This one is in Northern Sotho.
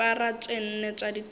dipara tše nne tša dithaka